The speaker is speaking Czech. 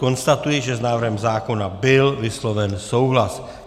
Konstatuji, že s návrhem zákona byl vysloven souhlas.